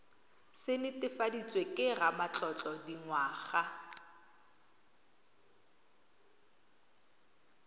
se netefaditsweng ke ramatlotlo dingwaga